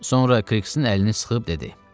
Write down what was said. Sonra Kriksin əlini sıxıb dedi: